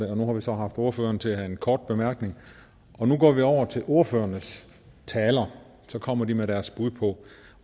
og nu har vi så haft ordføreren til at have en kort bemærkning nu går vi over til ordførernes taler så kommer de med deres bud